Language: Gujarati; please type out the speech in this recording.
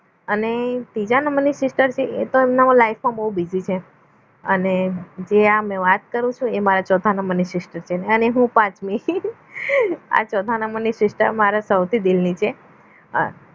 અને ત્રીજા નંબરની sister છે એ તો એમના બહુ busy છે અને જે અમે વાત કરું છું એ મારા ચોથા નંબરની sister અને હું પાંચમી આ ચોથા નંબરની એ મારા સૌથી દિલની છે હા